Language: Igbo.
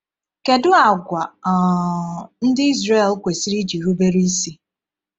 Kedu àgwà um ndị Izrel kwesịrị iji rubere isi?